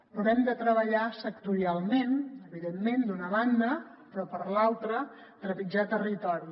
hem de treballar sectorialment evidentment d’una banda però de l’altra trepitjar territori